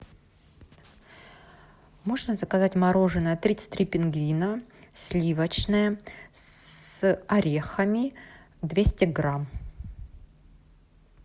можно заказать мороженое тридцать три пингвина сливочное с орехами двести грамм